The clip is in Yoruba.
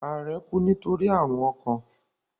Ààrẹ kú nítorí àrùn ọkàn.